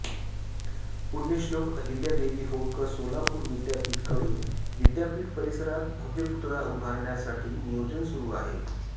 पुण्यश्लोक अहिल्यादेवी होळकर सोलापूर विद्यापीठाकडून विद्यापीठ परिसरात भव्य पुतळा उभारण्यासाठी नियोजन सुरू आहे